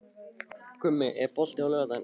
Gummi, er bolti á laugardaginn?